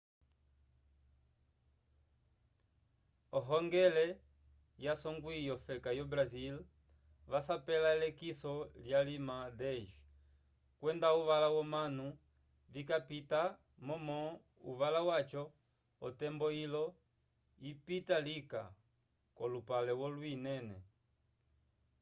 ohongele yasongwi yofeka yo brasil vasapela elekiso lyalima 10 kwenda uvala womanu vikapitapita momo uvala waco otembo yilo yipita lika k'olupale wolwi inene